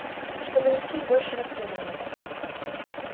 и чтобы никаких больше расследований